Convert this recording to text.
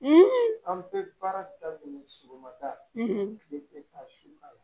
an bɛ baara daminɛ sɔgɔmada la kile bi taa su